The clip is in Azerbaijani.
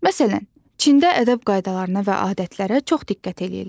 Məsələn, Çində ədəb qaydalarına və adətlərə çox diqqət edirlər.